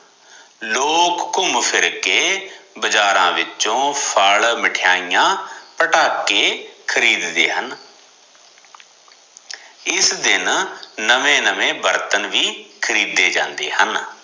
ਲੋਕ ਘੁੰਮ ਫਿਰ ਕੇ ਬਾਜ਼ਾਰਾਂ ਵਿਚੋ ਫ਼ਲ ਮਿਠਾਈਆਂ ਪਟਾਕੇ ਖਰੀਦਦੇ ਹਨ ਇਸ ਦਿਨ ਨਵੇਂ ਨਵੇਂ ਬਰਤਨ ਵੀ ਖਰੀਦੇ ਜਾਂਦੇ ਹਨ